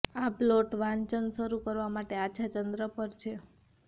આ પ્લોટ વાંચન શરૂ કરવા માટે આછા ચંદ્ર પર છે